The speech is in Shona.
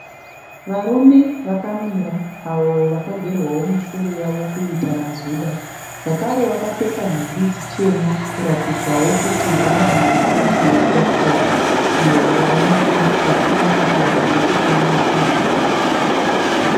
Varume vakamira avo vakagerwawo misoro yavo kuita mazuda. Zvakare vakapfeka nhumbi chena kuratidzawo kuti vanoenda chechi yepositori iyo yavanonge vachinamatira pamwe chete nekurumbidza musiki.